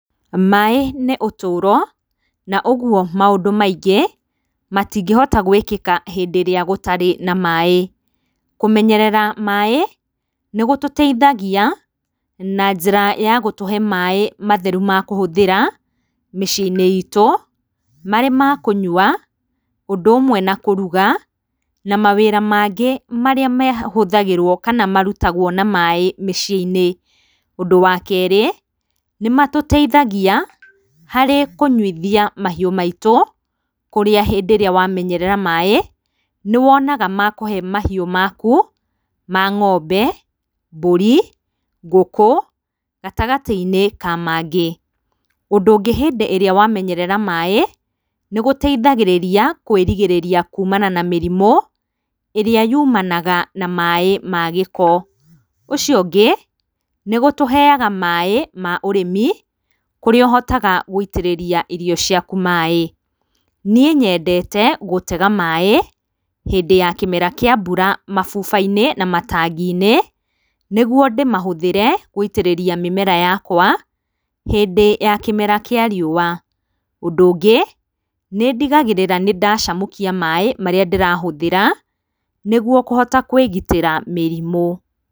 Maĩĩ nĩ ũtũũro, na ũguo maũndũ maingĩ, matingĩhota gwĩkĩka hĩndĩ ĩrĩa gũtarĩ na maĩĩ, kũmenyerera maĩĩ nĩgũtũteithagia na njĩra ya gũtũhe maĩĩ matheru ma kũhũthĩra, mĩciĩ-inĩ iitũ marĩ ma kũnyua ũndũ ũmwe na kũruga, na mawĩra mangĩ marĩa mahũthagĩrwo kana marutagwo na maĩĩ mĩciĩ-inĩ. Ũndũ wa keerĩ, nĩmatũteithagia harĩ kũnyuithia mahiũ maitũ, kũrĩa hĩndĩ ĩrĩa wamenyerera maĩĩ, nĩwonaga ma kũhe mahiũ maku, ma ng’ombe, mbũri ngũkũ gatagatĩ-inĩ ka mangĩ, ũngĩ hĩndĩ ĩrĩa wamenyerera maĩĩ, nĩgũteithagĩrĩria kwĩrigĩrĩria kuumana na mĩrimũ ĩrĩa yuumanaga na maĩĩ ma gĩko. Ũcio ũngĩ nĩgũtũheaga maĩĩ ma ũrĩmi, kũrĩa ũhotaga gũitĩrĩria irio ciaku maĩĩ, nie nyendete gũtega maĩĩ, hĩndĩ ya kĩmera kĩa mbura mabuba-inĩ na matangi-inĩ nĩguo ndĩmahũthĩre gũitĩrĩria mĩmera yakwa, hĩndĩ ya kĩmera kĩa riũa. Ũndũ ũngĩ nĩndigagĩrĩra nĩndacamũkia maĩĩ marĩa ndĩrahũthĩra, nĩguo kũhota kwigitĩra mĩrimũ.